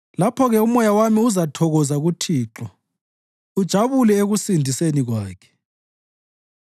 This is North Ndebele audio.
Lapho-ke umoya wami uzathokoza kuThixo ujabule ekusindiseni Kwakhe.